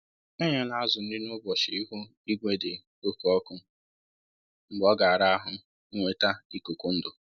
Enyela azụ nri n'ụbọchi ihu igwe dị oke ọkụ, mgbe ọ ga ara ahụ inweta ikuku ndụ